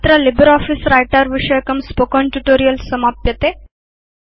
अत्र LibreOffice writer विषयकं spoken tutorial समाप्यते